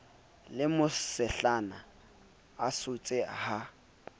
le mosehlana a sotse ha